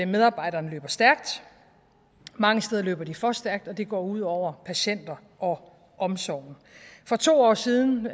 medarbejderne løber stærkt mange steder løber de for stærkt og det går ud over patienterne og omsorgen for to år siden